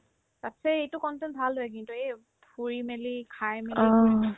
তাৰপিছত এই এইটো content ভাল হয় কিন্তু এই ফুৰি মেলি খাই মেলি কৰিব